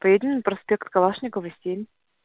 строительный проспект калашникова семь